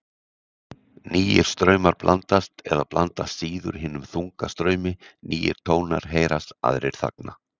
Nýir straumar blandast eða blandast síður hinum þunga straumi, nýir tónar heyrast, aðrir þagna.